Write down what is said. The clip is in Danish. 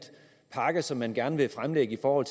pakke som man gerne vil fremlægge for